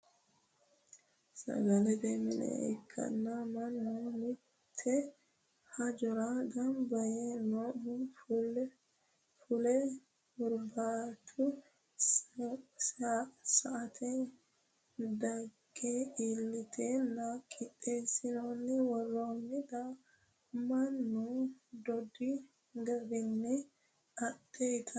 Sagalete mine ikkanna mannu mite hajora gamba yee noohu fule hurbatu saate dage iillitenna qixeesine woronnitta mannu dodhi garinni adhe ittanni no.